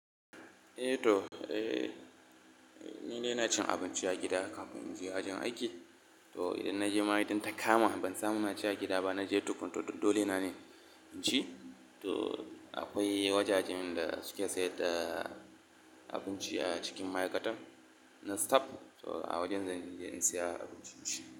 Eh to, eh ni dai na cin abinci a gida kafin in je wajen aiki. To idan na je ma idan ta kama ban samu na ci a gida ba, na je tukun to duk dole na ne in ci. To akwai wajajen da suke sayar da abinci a cikin ma'aikatar na staff, to a wajen zan je in saya abinci.